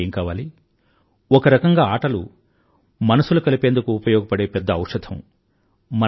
అంతకంటే ఏం కావాలి ఒకరకంగా ఆటలు మనసులు కలిపేందుకు ఉపయోగపడే పెద్ద ఔషధం